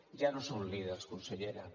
ja no són líders consellera